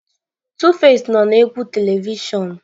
Tuface nọ na egwu telivishọn.